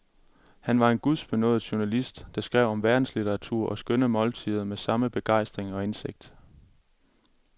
Han var en gudbenådet journalist, der skrev om verdenslitteratur og skønne måltider med samme begejstring og indsigt.